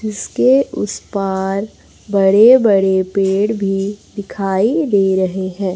जिसके उस पार बड़े बड़े पेड़ भी दिखाई दे रहे हैं।